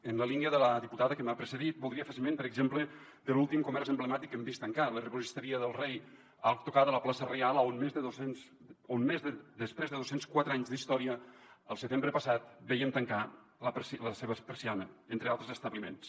en la línia de la diputada que m’ha precedit voldria fer esment per exemple de l’últim comerç emblemàtic que hem vist tancar l’herboristeria del rei a tocar de la plaça reial on després de dos cents i quatre anys d’història al setembre passat vèiem tancar la seva persiana entre altres establiments